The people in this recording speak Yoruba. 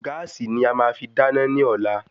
Gáàsì ni ama fi dáná ní ọ̀la